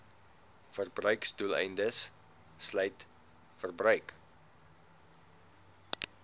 verbruiksdoeleindes sluit verbruik